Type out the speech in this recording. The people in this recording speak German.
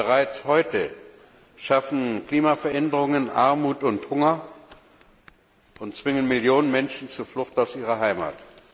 Bereits heute schaffen Klimaveränderungen Armut und Hunger und zwingen Millionen Menschen zur Flucht aus ihrer Heimat.